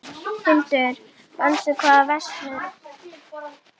Hildur, manstu hvað verslunin hét sem við fórum í á sunnudaginn?